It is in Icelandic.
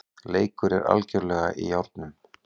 Leikur er algerlega í járnum